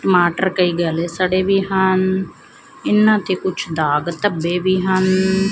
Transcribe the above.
ਟਮਾਟਰ ਕਈ ਗਲੇ ਸੜੇ ਵੀ ਹਨ ਇਹਨਾਂ ਤੇ ਕੁਝ ਦਾਗ ਧੱਬੇ ਵੀ ਹਨ